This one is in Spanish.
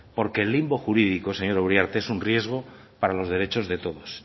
porque el limbo jurídico señora uriarte es un riesgo para los derechos de todos